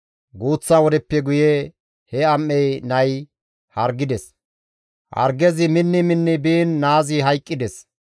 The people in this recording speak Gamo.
Guuththa wodeppe guye he am7ey nay hargides; hargezi minni minni biin naazi hayqqides.